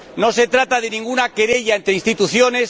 No se trata de ninguna querella entre instituciones.